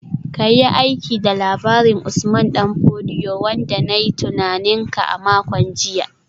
Ka yi aiki da labarin Usman Dan Fodio wanda na yi tunanin ka a makon jiya